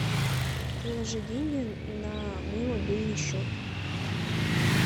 положи деньги на мой мобильный счет